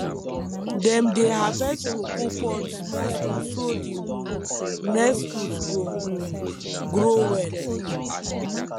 dem dey harvest cocoa pod small small so d um next fruit go um grow well um